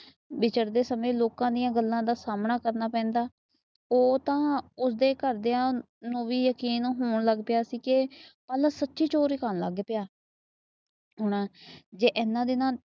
ਵਿਚਰਦੇ ਸਮੇ ਲੋਕ ਦੀਆ ਗੱਲਾਂ ਦਾ ਸਾਹਮਣਾ ਕਰਨਾ ਪੈਂਦਾ। ਉਹ ਤਾਂ ਉਸਦੇ ਘਰ ਦੀਆ ਨੂੰ ਵੀ ਯਕੀਨ ਹੋਣ ਲੱਗ ਪਿਆ ਸੀ। ਕੇ ਪਾਲਾ ਸੁੱਚੀ ਚੋਰੀ ਕਰਨ ਲੱਗ ਪਿਆ। ਜੇ ਇਹਨਾਂ ਦਿਨਾਂ